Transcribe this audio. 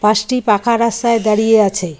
বাসটি পাকা রাস্তায় দাঁড়িয়ে আছে।